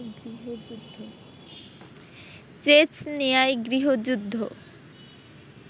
চেচনিয়ায় গৃহযুদ্ধ